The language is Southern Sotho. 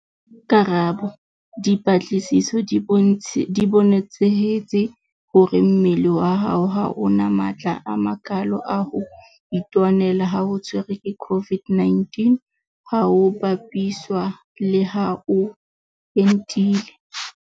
Karabo. Dipatlisiso di bonetsehetse hore mmele wa hao ha o na matla a makalo a ho itwanela ha o tshwerwe ke COVID-19 ha ho bapiswa le ha o entile.